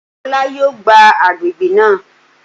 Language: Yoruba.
Olá yóò gbá àgbègbè náà